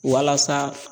Walasa